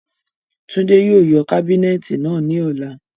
Túndé yóò yọ kábínẹti naá ni ọla.